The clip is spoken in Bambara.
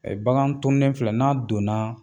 bagan tuunnen filɛ n'a donna